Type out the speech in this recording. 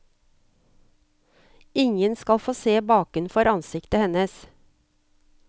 Ingen skal få se bakenfor ansiktet hennes.